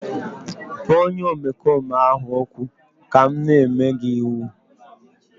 kpọọ onye omekome ahụ ọkụ ka m na-enye gị iwu!